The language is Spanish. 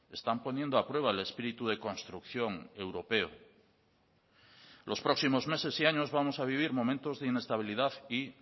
están poniendo a prueba el espíritu de construcción europeo los próximos meses y años vamos a vivir momentos de inestabilidad y